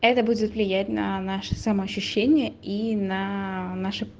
это будет влиять на наше самоощущение и наше